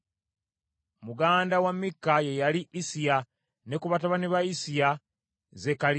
Muganda wa Mikka ye yali Issiya, ne ku batabani ba Issiya, Zekkaliya.